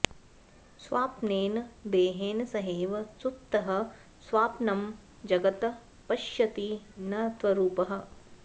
स्वाप्नेन देहेन सहैव सुप्तः स्वाप्नं जगत् पश्यति न त्वरूपः